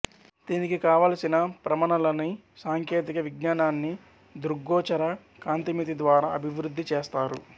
దీనికి కావలసిన ప్రమనలని సాంకేతిక విజ్ఞానాన్ని దృగ్గోచర కాంతిమితి ద్వారా అభివృద్ధి చేసారు